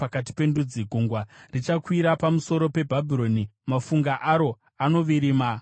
Gungwa richakwira pamusoro peBhabhironi; mafungu aro anovirima acharifukidza.